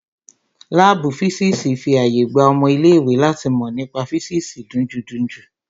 Láàbù físìsì fi àyè gba ọmọ ilé ìwé láti mọ nípa físìsì dunjúdunjú